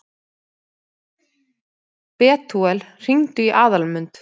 Betúel, hringdu í Aðalmund.